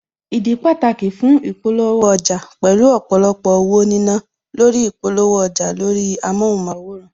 Ìdí pàtàkì fún ìpolówó ọjà, pẹ̀lú ọ̀pọ̀lọpọ̀ owó nínà lórí ìpolówó ọjà lórí amóhunmáwòrán